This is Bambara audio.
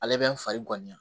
Ale bɛ n fari ŋaniya